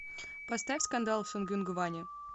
поставь скандал в сонгюнгване